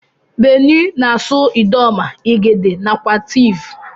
Benue na asụ idoma, igede nakwa tiv.